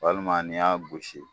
Walima n'i y'a gosi